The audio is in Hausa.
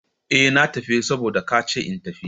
Eh! Na tafi saboda ka ce in tafi.